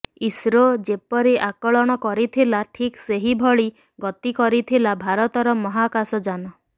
ISRO ଯେପରି ଆକଳନ କରିଥିଲା ଠିକ୍ ସେହିଭଳି ଗତି କରିଥିଲା ଭାରତର ମହାକାଶଯାନ